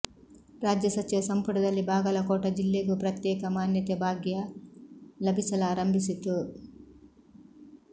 ರಾಜ್ಯ ಸಚಿವ ಸಂಪುಟದಲ್ಲಿ ಬಾಗಲಕೋಟ ಜಿಲ್ಲೆಗೂ ಪ್ರತ್ಯೇಕ ಮಾನ್ಯತೆ ಭಾಗ್ಯ ಲಭಿಸಲಾರಂಭಿಸಿತು